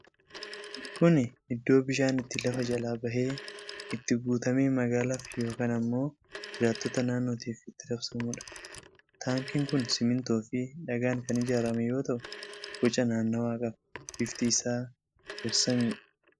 Kuni Iddoo bishaan itti lafa jalaa bahee itti guutamee magaalaaf yookiin ammoo jiraattota naannnof itti raabsamudha. Taaankiin kun simintoo fii dhagaan kan ijaarame yoo ta'u boca naannawaa qaba. Bifti isaa garsamiidha.